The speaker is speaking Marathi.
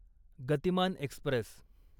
गतिमान एक्स्प्रेस